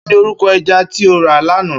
Kini órúkò èjà ti ó rá làná?